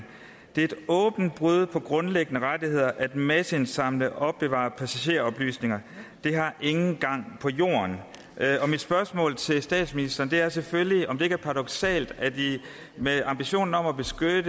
det er et åbent brud på grundlæggende rettigheder at masseindsamle og opbevare passageroplysninger det har ingen gang på jorden mit spørgsmål til statsministeren er selvfølgelig om det ikke er paradoksalt at med ambitionen om at beskytte